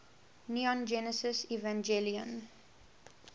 neon genesis evangelion